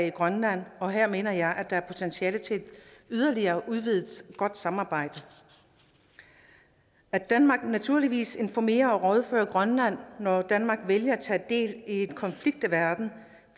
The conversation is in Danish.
i grønland og her mener jeg at der er potentiale til et yderligere udvidet godt samarbejde at danmark naturligvis informerer og rådfører sig med grønland når danmark vælger at tage del i en konflikt i verden